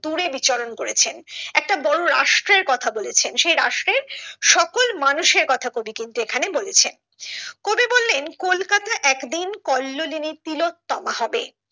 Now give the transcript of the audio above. দূরে বিচরণ করেছেন একটা বড়ো রাষ্ট্রের কথা বলেছেন সে রাষ্ট্রে সকল মানুষের কথা কবি কিন্তু এখানে বলেছেন কবি বললেন কলকাতা একদিন কল্লোলিনী তিলোত্তমা হবে